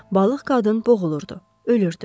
Balıq qadın boğulurdu, ölürdü.